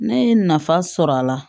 Ne ye nafa sɔrɔ a la